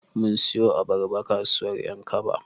Mun siyo abarba kasuwar ƴankaba.